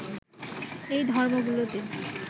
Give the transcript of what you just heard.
এই ধর্মগুলোতে